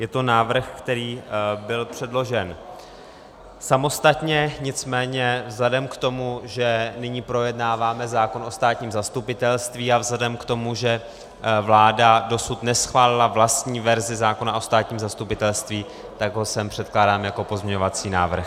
Je to návrh, který byl předložen samostatně, nicméně vzhledem k tomu, že nyní projednáváme zákon o státním zastupitelství, a vzhledem k tomu, že vláda dosud neschválila vlastní verzi zákona o státním zastupitelství, tak ho sem předkládám jako pozměňovací návrh.